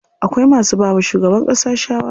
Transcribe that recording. Akwai masu bawa shugaban ƙasa shawara.